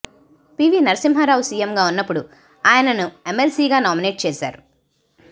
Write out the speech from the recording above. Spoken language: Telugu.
పీవీ నర్సింహా రావు సీఎంగా ఉన్నప్పుడు ఆయనను ఎమ్మెల్సీగా నామినేట్ చేశారు